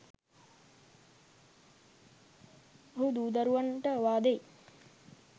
ඔහු දූ දරුවන්ට ඔවාදෙයි